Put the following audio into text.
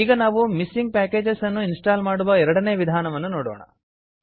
ಈಗ ನಾವು missing packages ಅನ್ನು ಇನ್ಸ್ಟಾಲ್ ಮಾಡುವ ಎರಡನೇ ವಿಧಾನವನ್ನು ನೋಡೋಣ